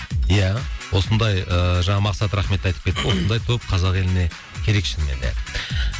иә осындай ыыы жаңа мақсат рахмет те айтып кетті осындай топ қазақ еліне керек шынымен де